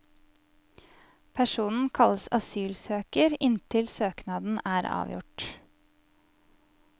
Personen kalles asylsøker inntil søknaden er avgjort.